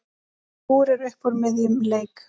Skúrir upp úr miðjum leik.